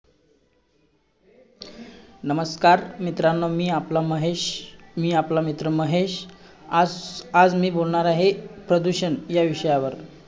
best Singer मी जास्ती song मी ऐकत नाही पण मला दर्शन रावल च गाणे खूप आव~